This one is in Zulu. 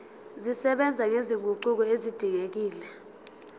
zisebenza nezinguquko ezidingekile